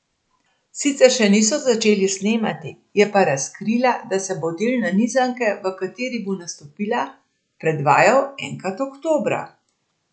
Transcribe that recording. Sicer še niso začeli snemati, je pa razkrila, da se bo del nanizanke, v kateri bo nastopila, predvajal enkrat oktobra.